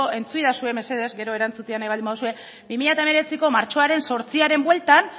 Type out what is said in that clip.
entzuidazue mesedez gero erantzutea nahi baldin baduzue bi mila hemeretziko martxoaren zortziaren bueltan